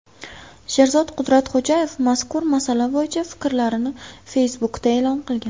Sherzod Qudratxo‘jayev mazkur masala bo‘yicha fikrlarini Facebook’da e’lon qilgan .